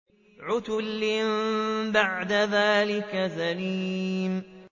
عُتُلٍّ بَعْدَ ذَٰلِكَ زَنِيمٍ